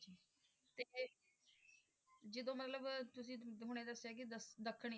ਜਦੋਂ ਮਤਲਬ ਤੁਸੀਂ ਹੁਣੇ ਦੱਸਿਆ ਕਿ ਦ~ ਦੱਖਣੀ